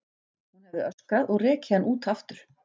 Hún hefði öskrað og rekið hann út aftur.